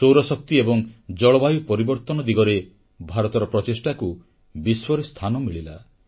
ସୌରଶକ୍ତି ଏବଂ ଜଳବାୟୁ ପରିବର୍ତ୍ତନ ଦିଗରେ ଭାରତର ପ୍ରଚେଷ୍ଟାକୁ ବିଶ୍ୱରେ ସ୍ଥାନ ମିଳିଲା